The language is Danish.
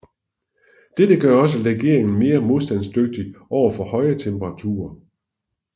Dette gør også legeringen mere modstandsdygtig over for høje temperaturer